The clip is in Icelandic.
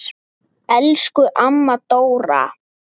Elsku amma Dóra.